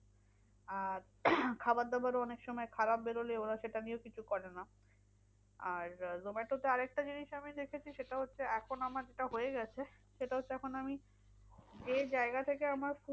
আর খাবার দাবার ও অনেকসময় খারাপ বেরোলে ওরা সেটা নিয়েও কিছু করে না আর আহ zomato তে আরেকটা জিনিস আমি দেখেছি সেটা হচ্ছে, এখন আমার যেটা হয়ে গেছে সেটা হচ্ছে এখন আমি যে জায়গা থেকে আমার